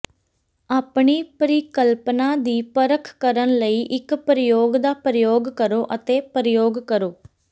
ਆਪਣੀ ਪਰਿਕਲਪਨਾ ਦੀ ਪਰਖ ਕਰਨ ਲਈ ਇੱਕ ਪ੍ਰਯੋਗ ਦਾ ਪ੍ਰਯੋਗ ਕਰੋ ਅਤੇ ਪ੍ਰਯੋਗ ਕਰੋ